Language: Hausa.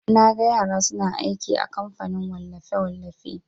Naga yara suna aiki a kamfanin wallafe-wallafe.